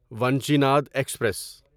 Vanchinad express